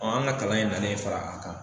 Ɔn an ga kalan in nalen fara a kan